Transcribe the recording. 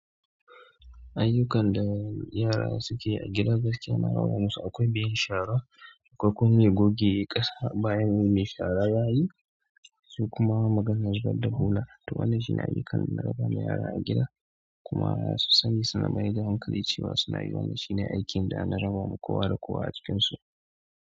Ayyukan da yara suke yi a gida gaskiya na raba musu, akwai mai yin shara, akwai kuma mai goge ƙasa bayan mai shara yayi, sai kuma maganar zubar da bola. Toh wannan shine ayyukan da na raba ma yara a gida kuma masu sani suna maida hankali cewa suna yi wannan shine aikin da an raba ma kowa da kowa a cikinsu.